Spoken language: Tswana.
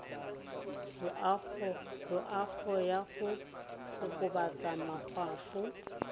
loago ya go kokobatsa makgwafo